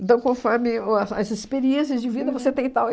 Então, conforme o as experiências de vida, você tem e tal